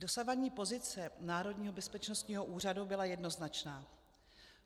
Dosavadní pozice Národního bezpečnostního úřadu byla jednoznačná.